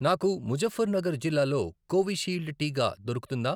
నాకు ముజఫ్ఫర్ నగర్ జిల్లాలో కోవిషీల్డ్ టీకా దొరుకుతుందా?